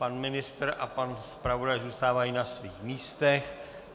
Pan ministr a pan zpravodaj zůstávají na svých místech.